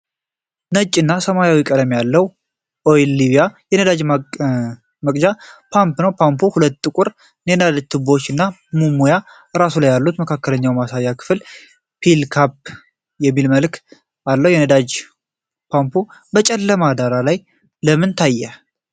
ነጭ እና ሰማያዊ ቀለም ያለው 'ኦይል ሊብያ' የነዳጅ መቅጃ ፓምፕ ነው። ፓምፑ ሁለት ጥቁር የነዳጅ ቱቦዎችና ቀይ መሙያ ራሶች አሉት። የመካከለኛው ማሳያ ክፍል ዌል ካም የሚል መልዕክት አለ። የነዳጅ ፓምፑ በጨለማ ዳራ ላይ ለምን ታየ?